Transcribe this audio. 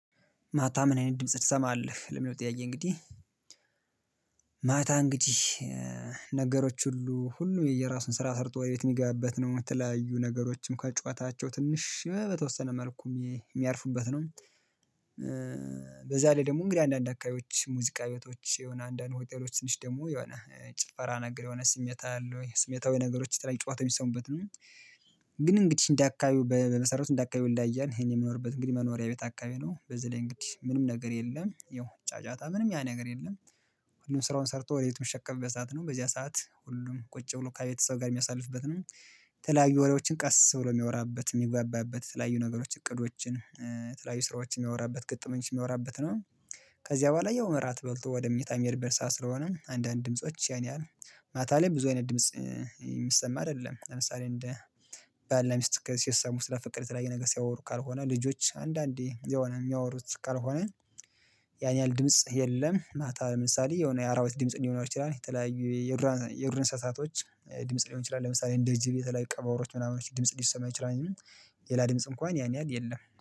ማታ ምን አይነት ድምጽ ትሰማልህ ለሚለው ጥያቄ እንግዲህ? ማታ እንግዲህ ነገሮች ሁሉ ሁሉ የየራሱን ስራ ሰርቶ ወደ ቤት የሚገባበት ነው የምትለያዩ ነገሮችም ከጩኸታቸው ትንሽ በተወሰነ መልኩ የሚያርፉበት ነው። በዛ ላይ ደግሞ እንግዲህ አንዳንድ አካባቢዎች ሙዚቃ ቤቶች የሆነ አንዳንድ ሆቴሎች ትንሽ ደግሞ የሆነ ጭፈራ ነገር የሆነ ስሜት አለ ወይ ስሜታዊ ነገሮች የተለያዩ ጨዋታ የሚሰሙበት ነው። ግን እንግዲህ እንደ አካባቢ በመሰረቱ እንደ አካባቢ ይለያያል። እኔ የምኖርበት እንግዲህ መኖሪያ ቤት አካባቢ ነው በዚህ ላይ እንግዲህ ምንም ነገር የለም ያው ጫጫታ ምንም ያ ነገር የለም። ሁሉም ስራውን ሰርቶ ወደ ቤቱ የሚሸከፍበት ሰዓት ነው በዚያ ሰዓት ሁሉም ቁጭ ብሎ ከቤተሰብ ጋር የሚያሳልፍበት ነው። የተለያዩ ወሬዎችን ቀስ ብሎ የሚያወራበት የሚግባባበት የተለያዩ ነገሮች እቅዶችን የተለያዩ ስራዎች የሚያወራበት ግጠመኞች የሚያወራበት ነው። ከዚያ በኋላ ያው እራት በልቶ ወደ ምኞታ የሚሄድብን ሰዓት ስለሆነ አንዳንድ ድምጾች ያነ ያሀል ማታ ላይ ብዙ አይነት ድምጽ የሚሰማ አይደለም። ለምሳሌ እንደ ባልናሚስት ሲሰሙ ስለ ፍቅር የተለያዩ ነገር ሲያወሩ ካልሆነ ልጆች አንዳንዴ የሆነ የሚያወሩት ካልሆነ ያን ያህል ድምጽ የለም። ማታ ለምሳሌ የሆነ የአራዊት ድምጽ ሊኖር ይችላል የተለያዩ የዱር አንሰሳቶች ድምጽ ሊሆን ይችላል። ለምሳሌ እንደ ጅብ የተለያዩ ቀበሮዎች ምናምኖች ድምጽ ሊሰማ ይችላል። እንጂ ሌላ ድምጽ እንኳን ያን ያህል የለም